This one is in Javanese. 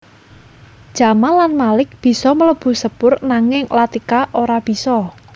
Jamal lan Malik bisa mlebu sepur nanging Latika ora bisa